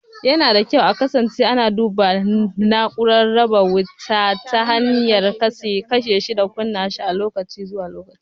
Yana da kyau a kasance ana duba na'urar raba wuta ta hanyar kashe shi da kunnawa lokaci-lokaci.